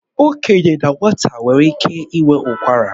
Okenye na nwata nwere ike inwe ụkwara